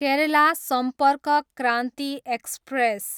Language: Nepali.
केरला सम्पर्क क्रान्ति एक्सप्रेस